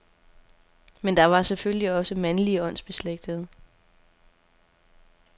Men der var selvfølgelig også mandlige åndsbeslægtede.